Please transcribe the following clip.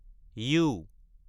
U